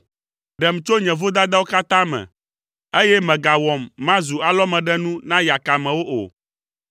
Ɖem tso nye vodadawo katã me, eye mègawɔm mazu alɔmeɖenu na yakamewo o.